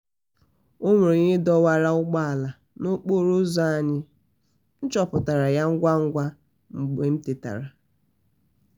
onwere onye dọwara ụgbọ ala n'okporo ụzọ anyị m chọpụtara ya ngwa ngwa m tetara